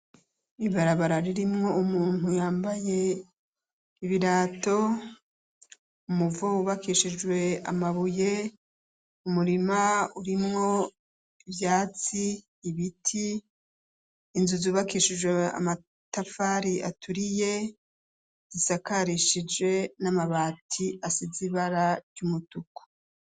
Ibarabara ririmwo umuntu yambaye ibirato ,umuvo wubakishijwe amabuye ,umurima urimwo ivyatsi ,ibiti ,inzu zubakishijwe amatafari aturiye zisakarishije n'amabati asize ibara ry'umutuku.